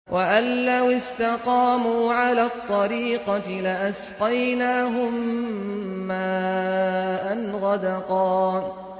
وَأَن لَّوِ اسْتَقَامُوا عَلَى الطَّرِيقَةِ لَأَسْقَيْنَاهُم مَّاءً غَدَقًا